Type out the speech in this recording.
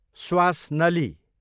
स्वास नली